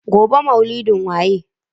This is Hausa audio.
Gobe ​​maulidin waye?